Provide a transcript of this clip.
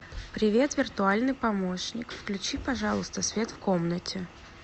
привет виртуальный помощник включи пожалуйста свет в комнате